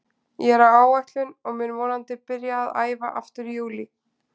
Ég er á áætlun og mun vonandi byrja að æfa aftur í júlí.